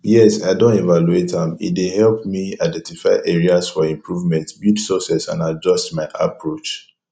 yes i don evaluate am e dey help me identify areas for improvement build success and adjust my approach